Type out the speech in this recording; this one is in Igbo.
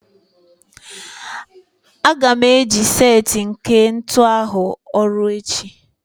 Aga m eji set nke ntu arụ ọrụ echi